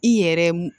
I yɛrɛ m